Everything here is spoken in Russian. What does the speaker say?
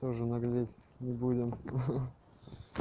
тоже наглеть не будем ха-ха